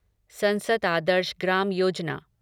संसद आदर्श ग्राम योजना